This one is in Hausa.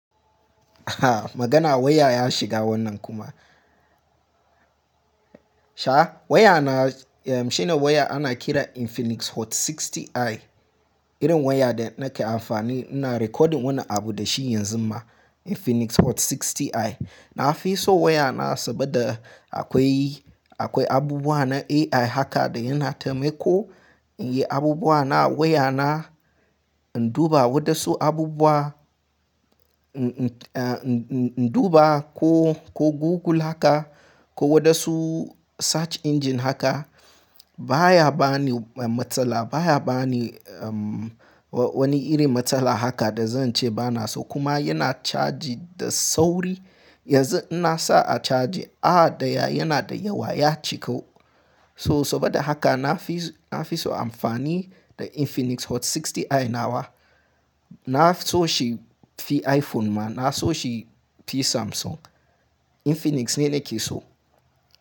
Aha magana waya ya shiga wannan kuma. Sha waya na shine waya ana kiran infinix hot 60i. Irin waya da nake amfani ina recording wannan abu da shi yanzu ma infinix hot 60i. Na fi so waya na saboda akwai, akwai abubuwa na AI haka da yana taimako. In yi abubuwa na waya na in duba wadansu abubuwa. In duba ko, ko Google haka ko wadansu search engine haka baya bani matsala. Baya bani wani irin matsala haka da zan ce bana so. Kuma yana charge da sauri. Yanzu in na sa a caji, awa daya yana da yawa ya cika. So saboda haka na fi, na fi so amfani da infinix hot 60i na wa. Na so shi fi iPhone ma, na so shi fi Samsung. Infinix ne nake so.